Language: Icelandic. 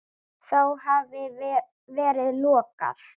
Þá hafi verið lokað.